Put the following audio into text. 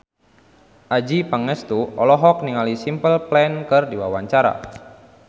Adjie Pangestu olohok ningali Simple Plan keur diwawancara